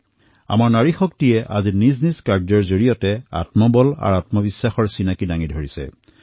আজি আমাৰ নাৰী শক্তিয়ে নিজৰ কাৰ্যৰ দ্বাৰা আত্মবল আৰু আত্মবিশ্বাসৰ পৰিচয় দিছে